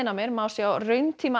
má sjá